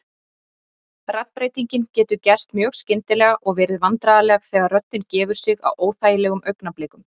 Raddbreytingin getur gerst mjög skyndilega og verið vandræðaleg þegar röddin gefur sig á óþægilegum augnablikum.